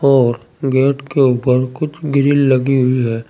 और गेट के ऊपर कुछ ग्रिल लगी हुई है।